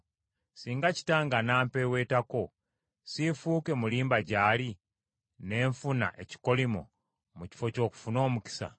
Singa kitange anampeeweetako, siifuuke mulimba gy’ali, ne nfuna ekikolimo mu kifo ky’okufuna omukisa?”